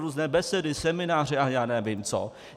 Různé besedy, semináře a já nevím co.